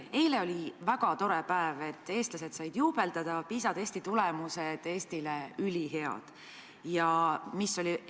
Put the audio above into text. Eile oli väga tore päev, eestlased said juubeldada, sest Eesti PISA testi tulemused on ülihead.